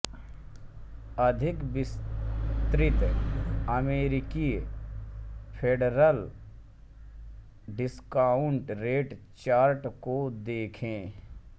अधिक विस्तृत अमेरिकी फेडरल डिस्काउंट रेट चार्ट को देखें